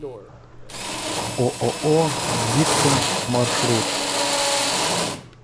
ооо диктум маршрут